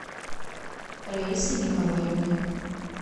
раисы николаевны